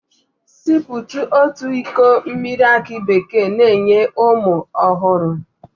Siputu otu iko mmiri aki bekee na-enye ume ọhụrụ